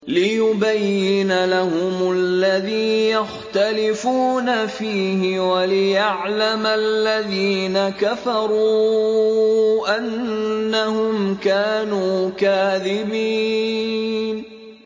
لِيُبَيِّنَ لَهُمُ الَّذِي يَخْتَلِفُونَ فِيهِ وَلِيَعْلَمَ الَّذِينَ كَفَرُوا أَنَّهُمْ كَانُوا كَاذِبِينَ